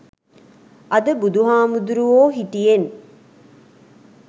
අද බුදුහාමුදුරුවෝ හිටියෙන්